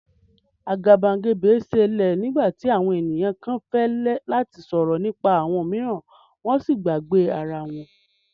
Agabagebe ṣẹlẹ nigbati awọn eniyan kan fẹ lati sọrọ nipa awọn miiran wọn si ǹ gbagbe ara wọn.